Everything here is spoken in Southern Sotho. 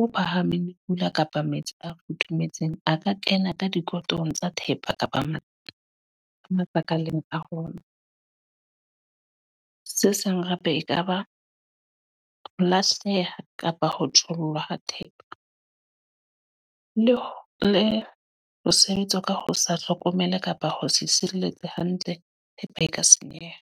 o phahameng le pula kapa metsi a futhumetseng a ka kena ka dikolotong tsa thepa kapa mathata a makaleng a rona. Se sang hape ekaba ho lahleha kapa ho thollwa ha thepa. Le le ho sebetsa ka ho sa hlokomele kapa ho se sireletsa hantle, thepa e ka senyeha.